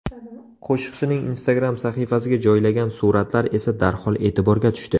Qo‘shiqchining Instagram sahifasiga joylagan suratlar esa darhol e’tiborga tushdi.